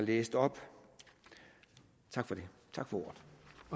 læst op tak for ordet